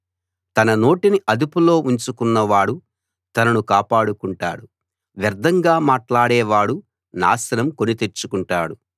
తన నోటిని అదుపులో ఉంచుకున్నవాడు తనను కాపాడుకుంటాడు వ్యర్థంగా మాట్లాడే వాడు నాశనం కొని తెచ్చుకుంటాడు